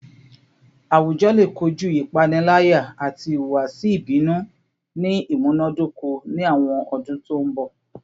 Awujọ le koju ipanilaya ati ihuwasi ibinu ni imunadoko ni awọn ọdun to nbọ